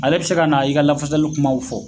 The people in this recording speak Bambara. Ale bɛ se ka na i ka lafasali kumaw fɔ